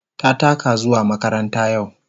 Ta taka zuwa makaranta yau.